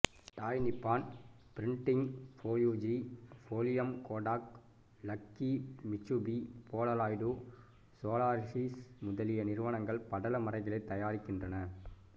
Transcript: டாய் Nippon Printing Fujifilm Kodak Lucky Mitsubishi Polaroid Solaris முதலிய நிறுவனங்கள் படல மறைகளைத் தயாரிக்கின்றன